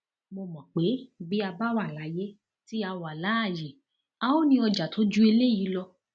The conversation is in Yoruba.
mo mọ pé bí a bá wà láyé tí a wà láàyè a óò ní ọjà tó ju eléyìí lọ